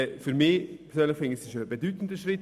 Aus meiner Sicht ist es ein bedeutender Schritt.